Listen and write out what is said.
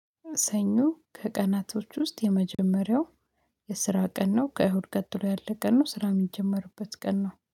ሰኞ ከቀናቶች ውስጥ የመጀመሪያው የስራ ቀን ነው። ከእሁድ ቀጥሎ ያለ ቀን ነው። ስራ እሚጀመርበት ቀን ነው